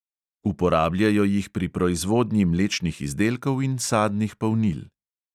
Uporabljajo jih pri proizvodnji mlečnih izdelkov in sadnih polnil.